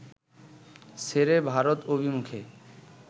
ছেড়ে ভারত অভিমুখে